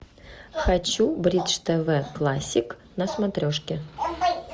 хочу бридж тв классик на смотрешке